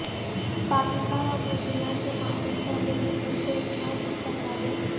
پاکستان اور New Zealand کے مابین پہلے کرکٹ ٹیسٹ میچ کی تصاویر